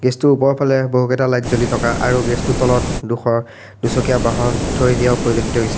টোৰ ওপৰফালে বহুতকেইটা লাইট জ্বলি থকা আৰু গেৰেজ টোৰ তলত ডোখৰ দুচকিয়া বাহন থৈ দিয়াও পৰিলক্ষিত হৈছে।